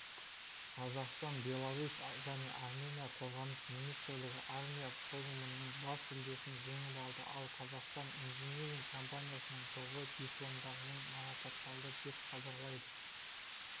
қазақстан беларусь және армения қорғаныс министрлігі армия форумыныңбас жүлдесін жеңіп алды ал қазақстан инжиниринг компаниясының тобы дипломдармен марапатталды деп хабарлайды